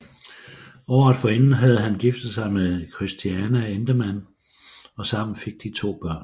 Året forinden havde han giftet sig med Christiane Endemann og sammen fik de to børn